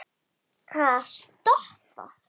Ha, stoppa? hváði Rikka.